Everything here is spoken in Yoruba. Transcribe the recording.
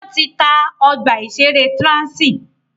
Wọ́n ti ta ọgbà ìṣẹ̀rẹ́ Transi.